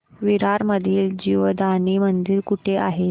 विरार मधील जीवदानी मंदिर कुठे आहे